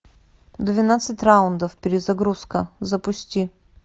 двенадцать раундов перезагрузка запусти